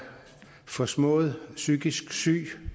forsmået psykisk syg